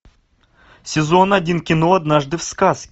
сезон один кино однажды в сказке